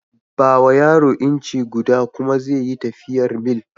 Ba wa yaro inci guda kuma ze yi tafiyar mil.